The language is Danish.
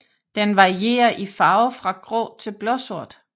Den varierer i farve fra grå til blåsort